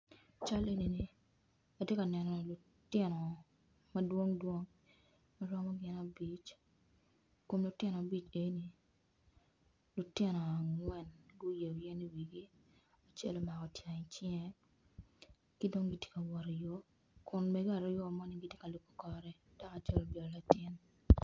Can enini atye ka neno lutino madwong dwong kun lutino ni eni lutino angwen magu yeo yen i wigi acel otingo i cinge kidong gitye ka wot i yo kun mege aryo ni gitye ka lubo kor gi